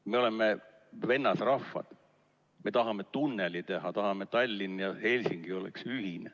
Me oleme vennasrahvad, me tahame tunneli teha, tahame, et Tallinn ja Helsingi oleks ühine.